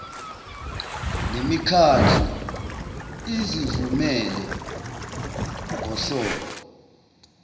nemikhandlu izivumele ngohlobo